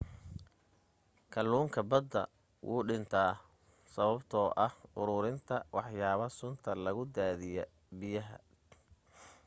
kaluunka badan wuuw dhinta sababta oo ah uruurinta waxyaba sunta lagu daadiyo biyaha